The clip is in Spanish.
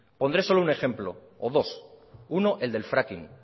pondré solo un ejemplo o dos uno el del fracking